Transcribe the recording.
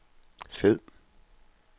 fed